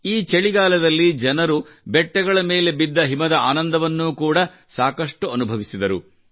ಈ ಚಳಿಗಾಲದಲ್ಲಿ ಜನರು ಬೆಟ್ಟಗಳ ಮೇಲೆ ಬಿದ್ದ ಹಿಮದ ಆನಂದವನ್ನೂ ಕೂಡಾ ಸಾಕಷ್ಟು ಅನುಭವಿಸಿದರು